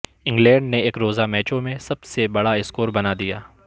England نے ایک روزہ میچوں میں سب سے بڑا اسکور بنا دیا